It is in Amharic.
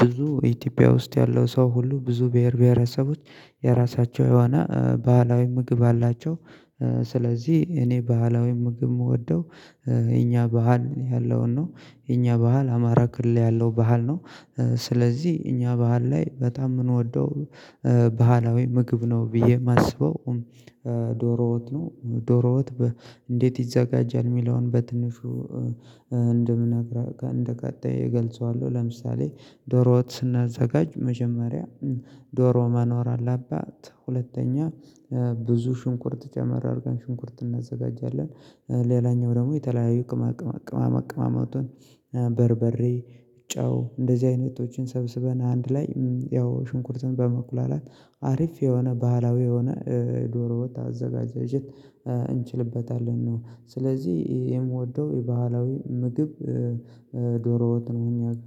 ብዙ ኢትዮጵያ ውስጥ ያለው ሰው ሁሉ ብዙ ብሄር ብሄረሰቦች የራሳቸው የሆነ ባህላዊ ምግብ አላቸው። ስለዚህ እኔ ባህላዊ ምግብ የምወደው የኛ ባህል ያለውን ነው። የእኛ ባህል አማራ ክልል ላይ ያለው ባህል ነው። ስለዚህ እኛ ባህል ላይ በጣም የምንወደው ባህላዊ ምግብ ነው ብዬ የማስበው ዶሮወጥ ነው። ዶሮወጥ እንዴት ይዘጋጃል የሚለውን በትንሹ እንደምነግራ እንደቀጣይ እገልጸዋለሁ። ለምሳሌ ዶሮወጥ ስናዘጋጅ መጀመሪያ ዶሮ መኖር አለባት። ሁለተኛ ብዙ ሽንኩርት ጨመር አድርገን ሽንኩርት እናዘጋጃለን ሌላኛው ደግሞ የተለያዩ ቅማ ቅማ ቅማማ ቅማማቱን በርበሬ ጨው እንደዚህ አይነቶችን ሰብስበን አንድ ላይ ያው ሽንኩርትን በመኩላላት አሪፍ የሆነ ባህላዊ የሆነ ዶሮ ወጥ አዘጋጃጀት እንችልበታለን ነው። ስለዚህ የምወደው የባህላዊ ምግብ ዶሮዎጥ ነው። የሚያውቀው